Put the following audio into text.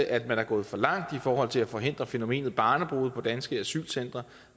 at man er gået for langt i forhold til at forhindre fænomenet barnebrude på danske asylcentre